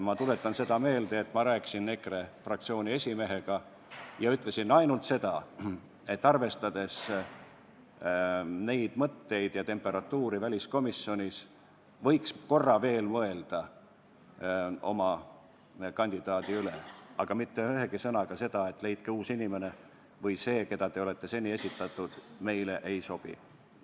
Ma tuletan meelde, et ma rääkisin EKRE fraktsiooni esimehega ja ütlesin ainult seda, et arvestades neid mõtteid ja temperatuuri väliskomisjonis, võiks korra veel mõelda kandidaadi üle, aga mitte ühegi sõnaga ei maininud ma seda, et leidke uus inimene või et see, kelle te olete seni esitanud, meile ei sobi.